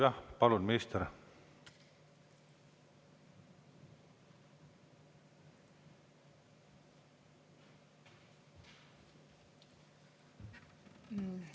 Jah, palun, minister!